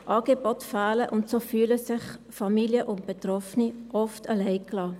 Angebote fehlen, und so fühlen sich Familien und Betroffene oft alleine gelassen.